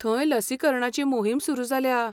थंय लसीकरणाची मोहीम सुरू जाल्या.